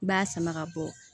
I b'a sama ka bɔ